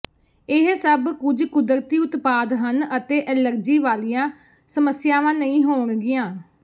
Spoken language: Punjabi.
ਇਹ ਸਭ ਕੁੱਝ ਕੁਦਰਤੀ ਉਤਪਾਦ ਹਨ ਅਤੇ ਐਲਰਜੀ ਵਾਲੀਆਂ ਸਮੱਸਿਆਵਾਂ ਨਹੀਂ ਹੋਣਗੀਆਂ